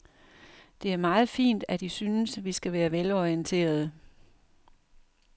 Det er meget fint, at I synes, vi skal være velorienterede.